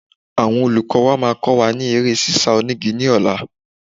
Àwọn olùkọ́ máa kọ́ wa ní eré ṣíṣá onígi ní ọ̀la.